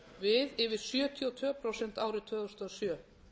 við yfir sjötíu og tvö prósent árið tvö þúsund og sjö